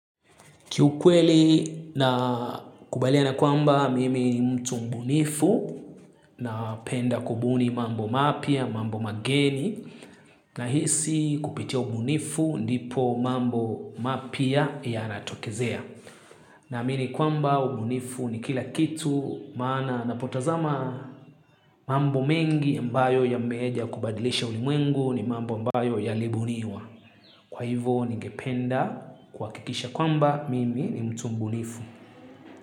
Kiukweli nakubaliana kwamba mimi ni mtu mbunifu napenda kubuni mambo mapya, mambo mageni nahisi kupitia ubunifu ndipo mambo mapya yanatokezea. Naamini kwamba ubunifu ni kila kitu maana napotazama mambo mengi ambayo yameeza kubadilisha ulimwengu ni mambo ambayo yalibuniwa. Kwa hivo ningependa kuhakikisha kwamba mimi ni mtu mbunifu.